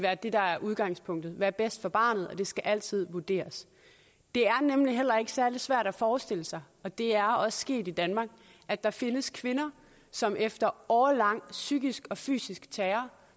at det der er udgangspunktet er bedst for barnet og det skal altid vurderes det er nemlig heller ikke særlig svært at forestille sig og det er også sket i danmark at der findes kvinder som efter årelang psykisk og fysisk terror